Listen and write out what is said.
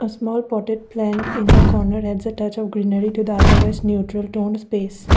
small potted plant in the corner adds a touch of greenery to the otherwise neutral toned space.